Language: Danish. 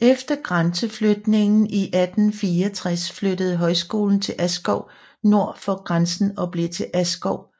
Efter grænseflytningen i 1864 flyttede højskolen til Askov nord for grænsen og blev til Askov